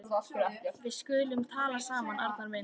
Við skulum tala saman, Arnar minn.